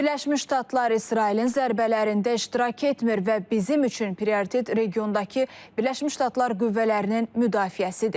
Birləşmiş Ştatlar İsrailin zərbələrində iştirak etmir və bizim üçün prioritet regiondakı Birləşmiş Ştatlar qüvvələrinin müdafiəsidir.